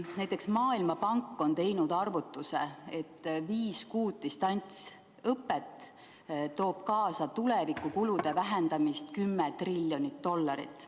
Ja Maailmapank on teinud arvutuse, et viis kuud distantsõpet toob kaasa tulevikukulude vähenemise 10 triljonit dollarit.